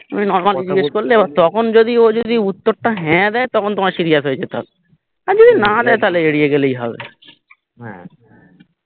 ওই normal জিজ্ঞেস করলে তখন যদি ও যদি উত্তরটা হ্যা দেয় তখন তোমায় serious হয়ে যেতে হবে আর যদি না দেয় তাহলে এড়িয়ে গেলেই হবে